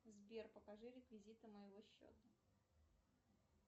сбер покажи реквизиты моего счета